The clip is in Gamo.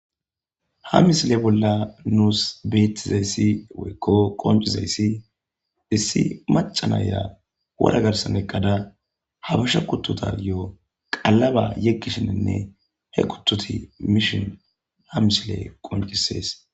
ha misile bolla nuus beettizayssi woykko qoncizayssi issi macanaya wora garsan eqqada habasha kuttota yo7o qalaba yeggishininne he kuttoti mishin ha misile qoncisees